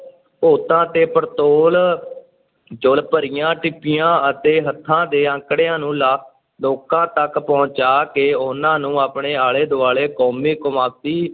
ਤੇ ਪੜਤੋਲ ਚੋਲ ਭਰੀਆਂ ਟਿੱਪਣੀਆਂ ਅਤੇ ਹੱਥਾਂ 'ਤੇ ਅੰਕੜਿਆਂ ਨੂੰ ਲਾ~ ਲੋਕਾਂ ਤੱਕ ਪਹੁੰਚਾ ਕੇ ਉਨਾਂ ਨੂੰ ਆਪਣੇ ਆਲੇ-ਦੁਆਲੇ ਕੌਮੀ, ਕੌਮਾਂਤਰੀ,